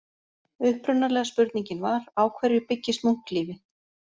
Upprunalega spurningin var: Á hverju byggist munklífi?